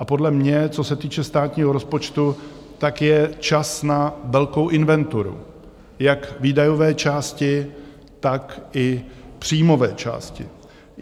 A podle mě, co se týče státního rozpočtu, tak je čas na velkou inventuru jak výdajové části, tak i příjmové části.